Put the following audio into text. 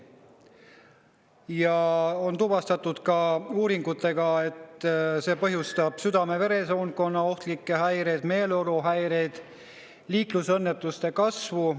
Uuringutega on tuvastatud, et see põhjustab südame‑veresoonkonna ohtlikke häireid, meeleoluhäireid, samuti liiklusõnnetuste kasvu.